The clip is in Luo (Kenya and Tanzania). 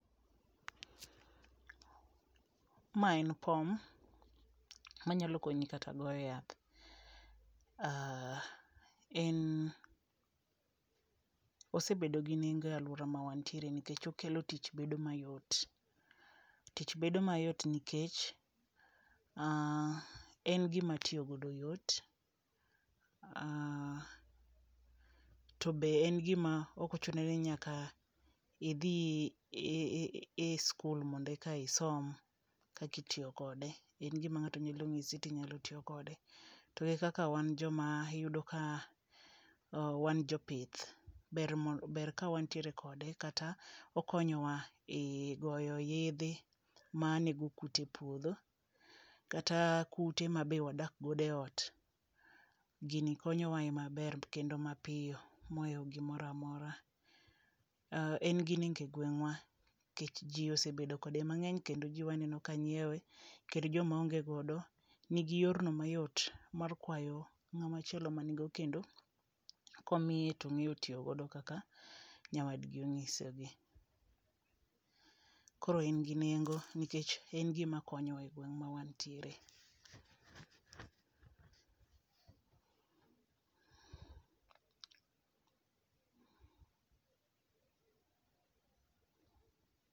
Mae en pom manyalo konyi kata goyo yath. En osebedo gi nengo e aluora mawantiere nikech okelo tich bedo mayot .Tich bedo mayot nikech en gima tiyo godo yot to be en gima okochuno ni nyaka idhi i e skul mondo eka isom kakitiyo kode en gima ng'ato nyalo nyisi titiyo kode . To e kaka wan joma iyudo ka wan jopith ber mondo ber ka wantiere kode kata okonyowa e goyo yedhe manego kute puodho kata kute ma be wadak godo eot gini konyowa e maber kendo mapiyo moewo gimoramora. En gi nengo e gweng'wa nikech njii osebedo kode mang'eny kendo jii mang'eny aneno ka nyiew kendo njii maonge godo nigi yorno mayot mar kwayo ng'amachielo mani go kendo komiye tong'eyo tiyo godo kaka nyawadgi onyisogi. Koro en gi nengo nikech en gima konyowa e gweng' ma wantiere